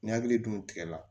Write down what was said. Ni hakili dun tigɛ la